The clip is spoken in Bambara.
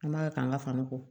An b'a k'an ka fani ko